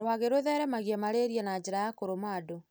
Rwagĩ rũtheremagia malaria na njĩra ya kũrũma andũ.